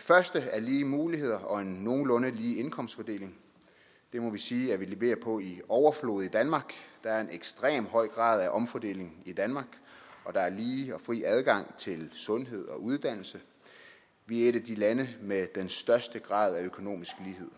første er lige muligheder og en nogenlunde lige indkomstfordeling det må vi sige at vi leverer på i overflod i danmark der er en ekstremt høj grad af omfordeling i danmark og der er lige og fri adgang til sundhed og uddannelse vi er et af de lande med den største grad af økonomisk lighed